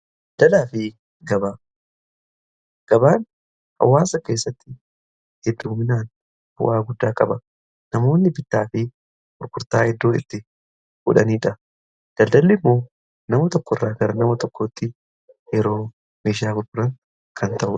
daldalaa fi gabaa gabaan hawaasa keessatti hedduminaan bu'aa guddaa qaba. namoonni bittaa fi gurgurtaa iddoo itti godhaniidha. daldalli immoo nama tokko irraa gara nama tokkootti yeroo meeshaa gurguran kan ta'udha.